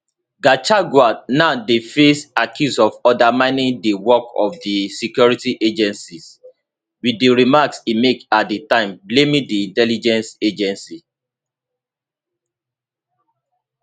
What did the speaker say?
gachagua now dey face accuse of undermining di work of di security agencies with di remarks e make at di time blaming di intelligence agency